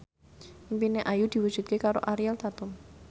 impine Ayu diwujudke karo Ariel Tatum